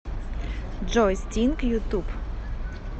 джой стинг ютуб